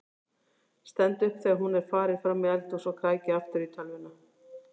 Stend upp þegar hún er farin fram í eldhús og kræki aftur í tölvuna.